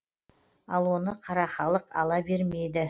ал оны қара халық ала бермейді